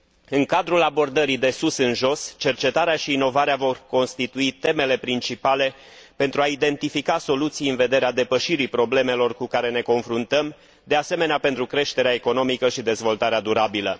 În cadrul abordării de sus în jos, cercetarea și inovarea vor constitui temele principale pentru a identifica soluții în vederea depășirii problemelor cu care ne confruntăm și pentru creșterea economică și dezvoltarea durabilă.